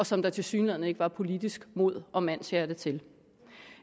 som der tilsyneladende ikke var politisk mod og mandshjerte til